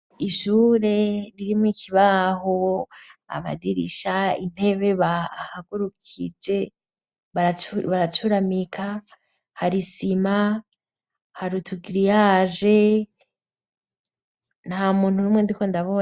Ishure ririmo ikibaho amadirisha ,intebe bahagurukije ,baracuramika hari sima harutugiriyage na muntu rumwe ndikonde